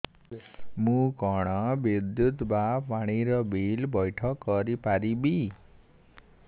ମୁ କଣ ବିଦ୍ୟୁତ ବା ପାଣି ର ବିଲ ପଇଠ କରି ପାରିବି